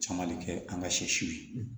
Caman bɛ kɛ an ka sɛ siw ye